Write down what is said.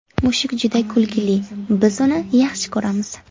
Mushuk juda kulgili, biz uni yaxshi ko‘ramiz!